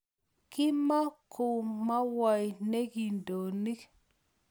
Kimokumowoi nee kindonik